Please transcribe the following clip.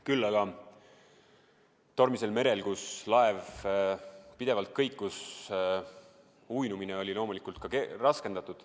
Küll aga oli tormisel merel, kus laev pidevalt kõikus, uinumine loomulikult raskendatud.